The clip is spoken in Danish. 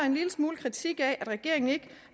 en lille smule kritik af at regeringen ikke